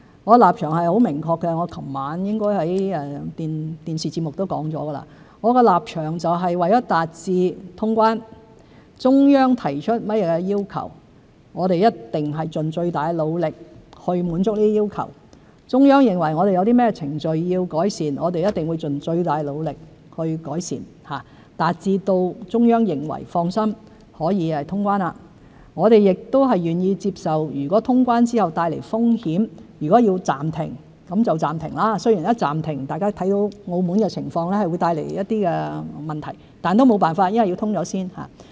我的立場很明確，我昨晚應在電視節目中說過：我的立場是，為達致通關，中央提出甚麼要求，我們一定盡最大努力滿足其要求；中央認為我們有甚麼程序要改善，我們一定盡最大努力改善，令中央可以放心通關；我們亦願意接受通關後帶來的風險，如果要暫停就暫停——雖然一暫停，大家看到澳門的情況，會帶來一些問題，但也沒有辦法，因為要先通關。